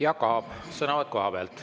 Jaak Aab, sõnavõtt kohapealt.